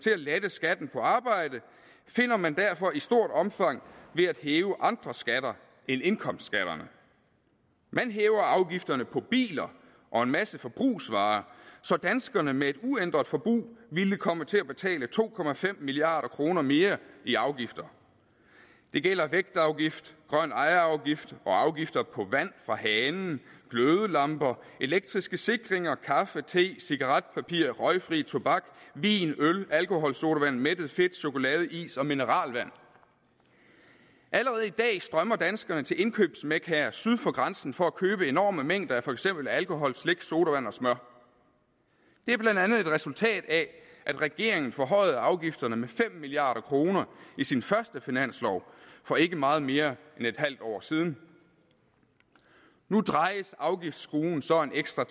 til at lette skatten på arbejde finder man derfor i stort omfang ved at hæve andre skatter end indkomstskatterne man hæver afgifterne på biler og en masse forbrugsvarer så danskerne med et uændret forbrug vil komme til at betale to milliard kroner mere i afgifter det gælder vægtafgift grøn ejerafgift og afgifter på vand fra hanen glødelamper elektriske sikringer kaffe te cigaretpapir røgfri tobak vin øl alkoholsodavand mættet fedt chokolade is og mineralvand allerede i dag strømmer danskerne til indkøbsmekkaer syd for grænsen for at købe enorme mængder af for eksempel alkohol slik sodavand og smør det er blandt andet et resultat af at regeringen forhøjede afgifterne med fem milliard kroner i sin første finanslov for ikke meget mere end et halvt år siden nu drejes afgiftsskruen så en ekstra